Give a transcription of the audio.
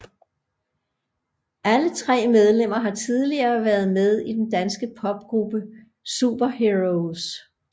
Alle tre medlemmer har tidligere været med i den danske popgruppe Superheroes